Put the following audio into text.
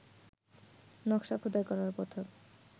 নকশা খোদাই করা পাথর